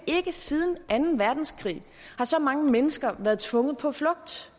har ikke siden anden verdenskrig har så mange mennesker været tvunget på flugt